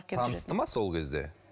танысты ма сол кезде